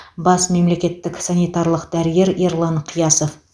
бас мемлекеттік санитарлық дәрігер ерлан қиясов